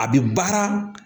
A bɛ baara